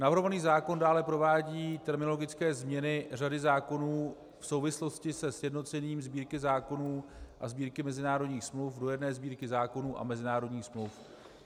Navrhovaný zákon dále provádí terminologické změny řady zákonů v souvislosti se sjednocením Sbírky zákonů a Sbírky mezinárodních smluv do jedné Sbírky zákonů a mezinárodních smluv.